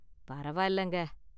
பரவாயில்லைங்க.